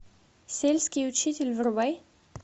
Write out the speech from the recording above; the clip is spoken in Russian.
сельский учитель врубай